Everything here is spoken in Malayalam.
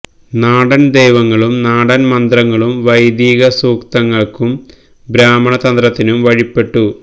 നാടൻ ദൈവങ്ങളും നാടൻ മന്ത്രങ്ങളും വൈദിക സൂക്തങ്ങൾക്കും ബ്രാഹ്മണ തന്ത്രത്തിനും വഴിപ്പെട്ടു